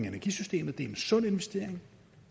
energisystemet er en sund investering